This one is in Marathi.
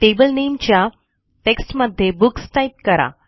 टेबल नेमच्या टेक्स्टमध्ये बुक्स टाईप करा